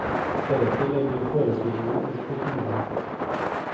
Deretter legger forestillingen ut på turne.